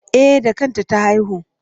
E, da kanta ta haihu.